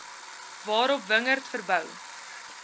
waarop wingerd verbou